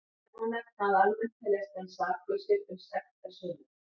Enn má nefna að almennt teljast menn saklausir uns sekt er sönnuð.